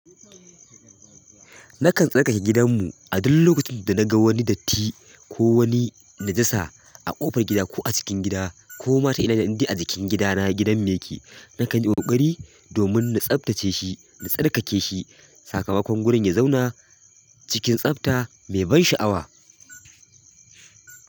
Nakan tsarkake gidanmu a duk lokacin da naga wani datti ko wani najasa a ƙofar gida ko a cikin gida ko ma ta ina indai a jikin gidana gidan mu ke. Nakan yi ƙoƙari domin na tsabtace shi na tsarkake shi sakamakon gurin ya zauna cikin tsafta mai ban sha'awa.